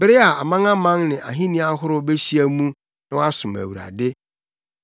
bere a amanaman ne ahenni ahorow behyia mu na wɔasom Awurade.